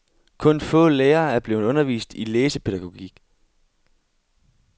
Kun få lærere er blevet undervist i læsepædagogik.